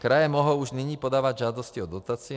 Kraje mohou už nyní podávat žádosti o dotaci;